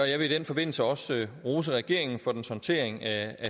jeg vil i den forbindelse også rose regeringen for dens håndtering af